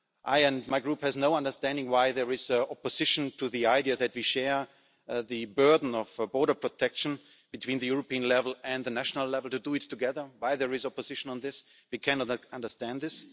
I and my Group have no understanding why there is opposition to the idea that we share the burden of border protection between the European level and the national level, to do it together. Why is there is opposition to this? We cannot understand this.